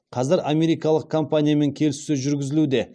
қазір америкалық компаниямен келіссөз жүргізілуде